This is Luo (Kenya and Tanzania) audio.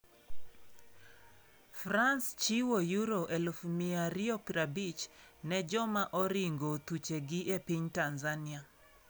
France chiwo Euro 250,000 ne joma oringo thuchegi e piny Tanzania